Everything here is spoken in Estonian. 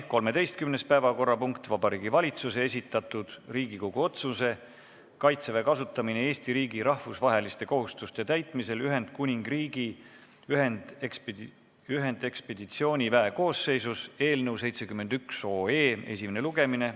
13. päevakorrapunkt on Vabariigi Valitsuse esitatud Riigikogu otsuse "Kaitseväe kasutamine Eesti riigi rahvusvaheliste kohustuste täitmisel Ühendkuningriigi ühendekspeditsiooniväe koosseisus" eelnõu 71 esimene lugemine.